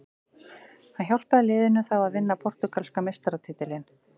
Hann hjálpaði liðinu þá að vinna portúgalska meistaratitilinn.